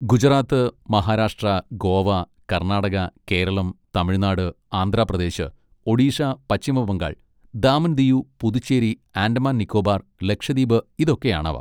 Gujarat, Maharashtra, Goa, Karnataka, Keralam, Tamil Nadu, Andhra Pradesh, Odisha, Paschima Bangal, Daman Diu, Puducherry, Andaman Nicobar, Lakshadweep, ഇതൊക്കെയാണവ.